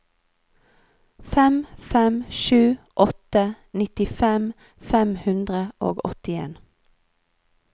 fem fem sju åtte nittifem fem hundre og åttien